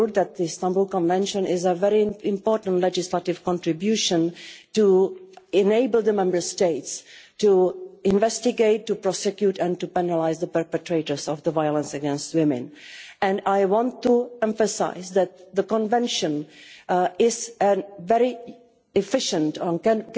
The Istanbul Convention is a very important legislative contribution to enable the Member States to investigate, prosecute and penalise the perpetrators of violence against women, and I want to emphasise that the convention can